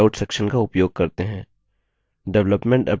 development up to present named slide को चुनें